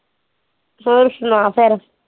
ਹੋਰ ਸੁਣਾ ਫੇਰ